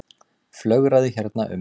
Flögraði hérna um.